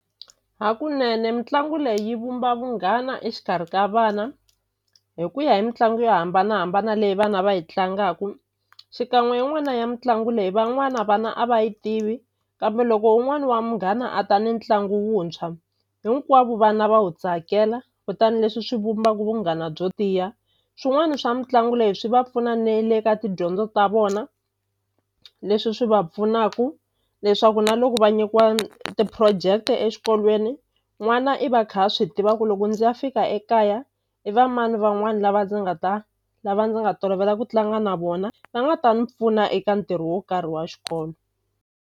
Hakunene mitlangu leyi yi vumba vunghana exikarhi ka vana hi ku ya hi mitlangu yo hambanahambana leyi vana va yi tlangaku xikan'we yin'wana ya mitlangu leyi van'wana vana a va yi tivi kambe loko un'wani wa munghana a ta ni ntlangu wuntshwa hinkwavo vana va wu tsakela kutani leswi swi vumbaku vunghana byo tiya swin'wani swa mitlangu leyi swi va pfuna ne le ka tidyondzo ta vona leswi swi va pfunaku leswaku na loko va nyikiwa ti-project exikolweni n'wana i va a kha swi tiva ku loko ndzi ya fika ekaya i va mani van'wani lava ndzi nga ta lava ndzi nga tolovela ku tlanga na vona va nga ta ni pfuna eka ntirho wo karhi wa xikolo.